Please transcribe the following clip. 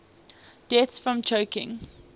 deaths from choking